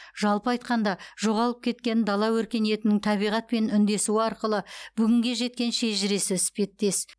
жалпы айтқанда жоғалып кеткен дала өркениетінің табиғатпен үндесуі арқылы бүгінге жеткен шежіресі іспеттес